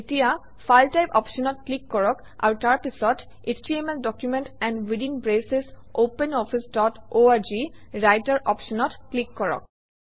এতিয়া file type অপশ্যনত click কৰক আৰু তাৰপিছত HTML document and within braces Open Office dot org Writer অপশ্যনত ক্লিক কৰক